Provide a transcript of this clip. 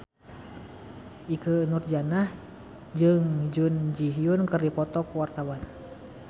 Ikke Nurjanah jeung Jun Ji Hyun keur dipoto ku wartawan